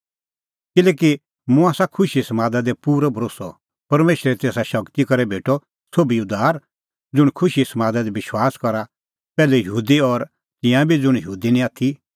किल्हैकि मुंह आसा खुशीए समादा दी पूरअ भरोस्सअ परमेशरे तेसा शगती करै भेटअ सोभी उद्धार ज़ुंण खुशीए समादा दी विश्वास करा पैहलै यहूदी और तिंयां बी ज़ुंण यहूदी निं आथी